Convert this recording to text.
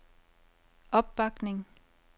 opbakning